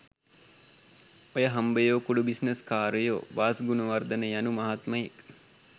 ඔය හම්බයෝ කුඩු බිස්නස් කාරයෝ .වාස් ගුනවර්දන යනු මහත්මයෙක්.